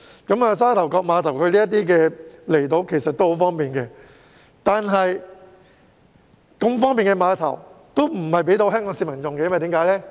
由沙頭角碼頭前往這些離島十分方便，但為何不把如此方便的碼頭提供予香港市民使用呢？